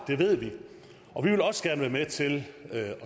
det ved vi og vi vil også gerne være med til at